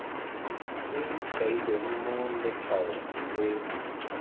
se kailweng mo letshwaong se